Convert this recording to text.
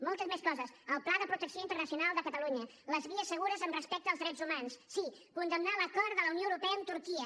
moltes més coses el pla de protecció internacional de catalunya les vies segures amb respecte als drets humans sí condemnar l’acord de la unió europea amb turquia